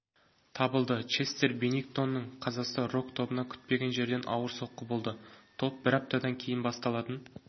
табылды честер беннингтонның қазасы рок-тобына күтпеген жерден ауыр соққы болды топ бір аптадан кейін басталатын